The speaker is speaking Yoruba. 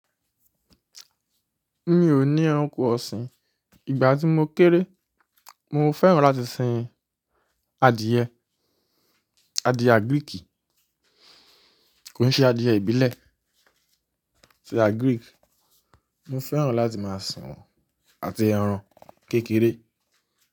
Mi ò ní ẹranko ọ̀sìn, ìgbà tí mo kéré mo fẹ́ràn láti sin adìẹ, adìẹ Greek, kò ní ṣe adìẹ ìbílẹ̀, adìẹ Greek. Mo fẹ́ràn láti máa sọ àti ẹran kékeré.